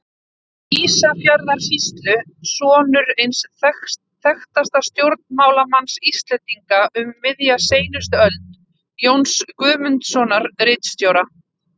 Ísafjarðarsýslu, sonur eins þekktasta stjórnmálamanns Íslendinga um miðja seinustu öld, Jóns Guðmundssonar, ritstjóra.